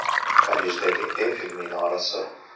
Parijdagi Eyfel minorasi.